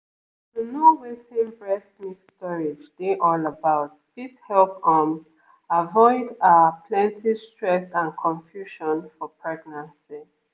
to know wetin breast milk storage dey all about fit help um avoid ah plenty stress and confusion for pregnancy